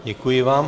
Děkuji vám.